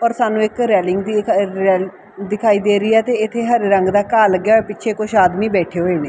ਪਰ ਸਾਨੂੰ ਇੱਕ ਰੈਲਿੰਗ ਦੀ ਦਿਖਾਈ ਦੇ ਰਹੀ ਹ ਤੇ ਇਥੇ ਹਰ ਰੰਗ ਦਾ ਘਾਹ ਲੱਗਿਆ ਪਿੱਛੇ ਕੁਝ ਆਦਮੀ ਬੈਠੇ ਹੋਏ ਨੇ।